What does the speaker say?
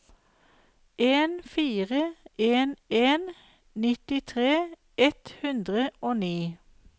en fire en en nittitre ett hundre og ni